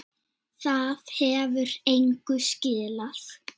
Það hefur engu skilað.